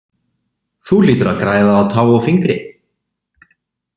Þú hlýtur að græða á tá og fingri!